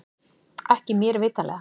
Ekki mér vitanlega